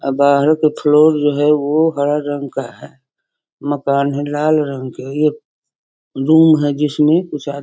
आ बाहरो का फ्लोर जो है वो हरा कलर का है मकान है लाल रंग के एक रूम है जिसमें आदमी --